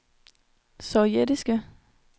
sovjetiske